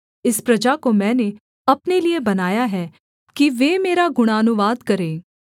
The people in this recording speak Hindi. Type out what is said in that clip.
इस प्रजा को मैंने अपने लिये बनाया है कि वे मेरा गुणानुवाद करें